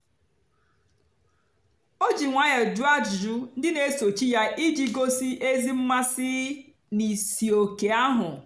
o jì nwayọ́ọ́ jụ́ọ́ àjụ́jụ́ ndí na-èsòchì ya ijì gòsí ézì mmásị́ n'ìsìòké ahụ́.